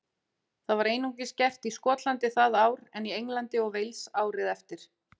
Það var einungis gert í Skotlandi það ár en í Englandi og Wales árið eftir.